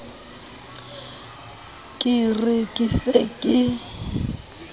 ke re ke se ke